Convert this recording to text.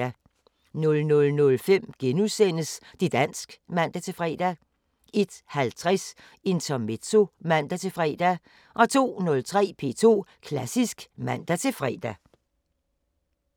00:05: Det´ dansk *(man-fre) 01:50: Intermezzo (man-fre) 02:03: P2 Klassisk (man-fre)